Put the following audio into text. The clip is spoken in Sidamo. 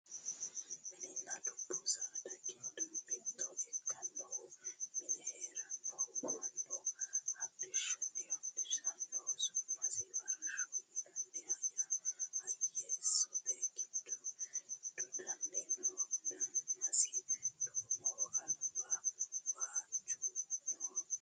mininna dubbu saada giddo mito ikkinohu mine heerennaho mannu hodhishshaho horonsirannohu su'masi farashshoho yinannihu hayeessote giddo dodanni no danasi duumoho albaho waajju nooho